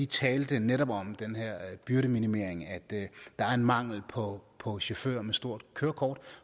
tales netop om den her byrdeminimering at der er mangel på på chauffører med stort kørekort